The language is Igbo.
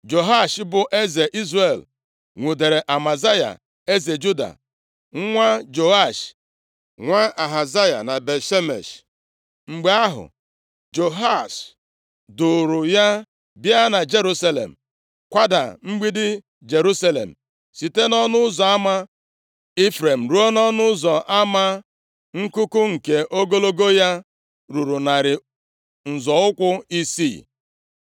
Jehoash, bụ eze Izrel nwudere Amazaya eze Juda, nwa Joash, nwa Ahazaya na Bet-Shemesh. Mgbe ahụ, Jehoash duuru ya bịa na Jerusalem, kwada mgbidi Jerusalem, site nʼỌnụ ụzọ ama Ifrem ruo nʼọnụ ụzọ ama Nkuku, nke ogologo ya ruru narị nzọ ụkwụ isii.